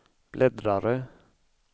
bläddrare